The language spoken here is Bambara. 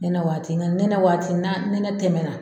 Nɛnɛ waati nka nɛnɛ waati n'a ni nɛnɛ tɛmɛ na